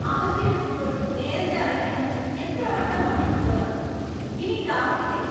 അവധിയെടുക്കുമ്പോൾ നേരത്തെ അറിയിക്കണമെന്ന് എത്രവട്ടം പറഞ്ഞിട്ടുള്ളതാണ്; ഇനി ഇത് ആവർത്തിക്കരുത്.